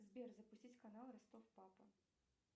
сбер запустить канал ростов папа